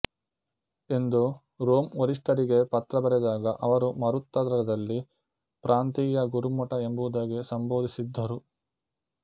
ಎಂದು ರೋಮ್ ವರಿಷ್ಠರಿಗೆ ಪತ್ರ ಬರೆದಾಗ ಅವರು ಮಾರುತ್ತರದಲ್ಲಿ ಪ್ರಾಂತೀಯ ಗುರುಮಠ ಎಂಬುದಾಗಿ ಸಂಬೋಧಿಸಿದ್ದರು